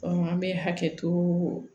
an bɛ hakɛ to